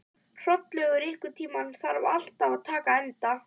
Hrollaugur, einhvern tímann þarf allt að taka enda.